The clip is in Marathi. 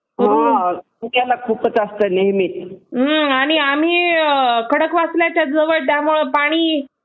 आणि आम्ही खडकवासल्याच्या जवळ असल्यामुळे पाणी